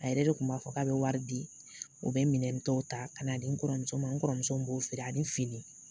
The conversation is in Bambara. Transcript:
A yɛrɛ de kun b'a fɔ k'a be wari di u be minɛn tɔw ta ka na di n kɔrɔ muso ma n kɔrɔmuso b'o feere ani fini